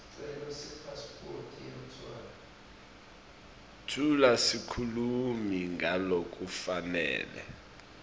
tfula sikhulumi ngalokufanele